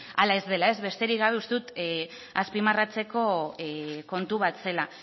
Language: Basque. hala ez dela besterik gabe uste dut azpimarratzeko kontu bat zela